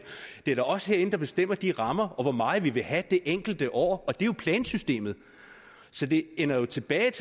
det er da os herinde der bestemmer de rammer og hvor meget vi vil have det enkelte år og det er jo plansystemet så det ender jo tilbage